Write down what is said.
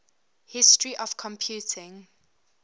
history of computing